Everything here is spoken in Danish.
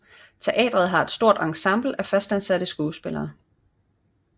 Teatret har et stort ensemble af fastansatte skuespillere